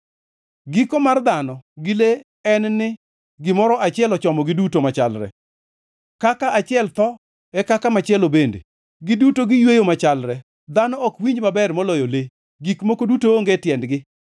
Giko mar dhano gi le en ni gimoro achiel ochomogi duto machalre. Kaka achiel tho e kaka machielo bende. Giduto giyweyo machalre; dhano ok winj maber maloyo le. Gik moko duto onge tiendgi.